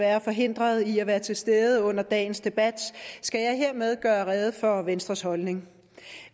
er forhindret i at være til stede under dagens debat skal jeg hermed gøre rede for venstres holdning